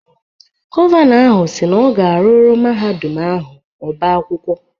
Gọvanọ ahụ si na ọ ga-arụrụ Mahadum ahụ ọbá akwụkwọ.